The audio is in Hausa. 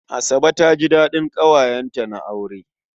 Asabe ta ji daɗin ƙawayenta na aure.